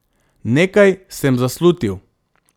Nekaj sem zaslutil.